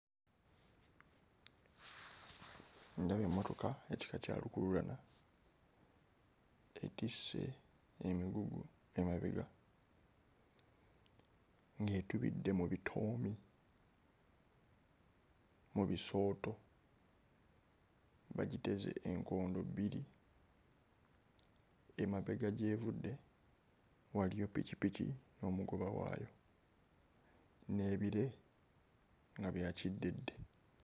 Ndaba emmotoka ekika kya lukuluulana etisse emigugu emabega ng'etubidde mu bitoomi mu bisooto, bagiteze enkondo bbiri. Emabega gy'evudde waliyo pikipiki n'omugoba waayo n'ebire nga bya kiddedde.